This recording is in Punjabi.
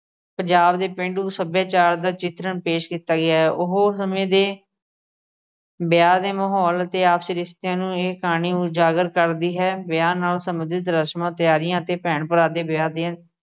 ਪੰਜਾਬ ਦੇ ਪੇਂਡੂ ਸੱਭਿਆਚਾਰ ਦਾ ਚਿਤਰਨ ਪੇਸ਼ ਕੀਤਾ ਗਿਆ ਏ, ਉਹ ਸਮੇਂ ਦੇ ਵਿਆਹ ਦੇ ਮਾਹੌਲ ਤੇ ਆਪਸੀ ਰਿਸ਼ਤਿਆਂ ਨੂੰ ਇਹ ਕਹਾਣੀ ਉਜਾਗਰ ਕਰਦੀ ਹੈ। ਵਿਆਹ ਨਾਲ ਸੰਬੰਧਿਤ ਰਸਮਾਂ ਤਿਆਰੀਆਂ ਤੇ ਭੈਣ ਭਰਾ ਦੇ ਵਿਆਹ ਦੀਆਂ